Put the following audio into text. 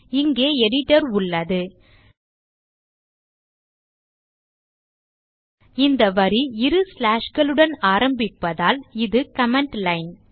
இங்கே எடிட்டர் உள்ளது இந்த வரி இரு slashகளுடன் ஆரம்பிப்பதால் இது கமெண்ட் லைன்